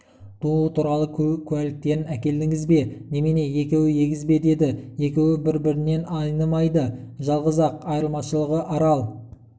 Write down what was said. тууы туралы куәліктерін әкелдіңіз бе немене екеуі егіз бе деді екеуі бір-бірінен айнымайды жалғыз-ақ айырмашылығы арал